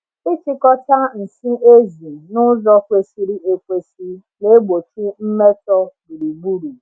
Ịchịkọta nsị ezi n’ụzọ kwesịrị ekwesị na-egbochi mmetọ gburugburu.